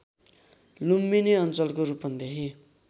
लुम्बिनी अञ्चलको रूपन्देही